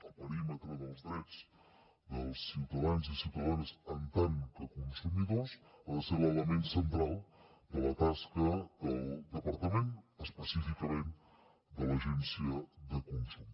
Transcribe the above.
el perímetre dels drets dels ciutadans i ciutadanes en tant que consumidors ha de ser l’element central de la tasca del departament específicament de l’agència de consum